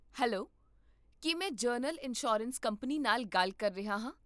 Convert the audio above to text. Hello, ਕੀ ਮੈਂ general insurance company ਨਾਲ ਗੱਲ ਕਰ ਰਿਹਾ ਹਾਂ?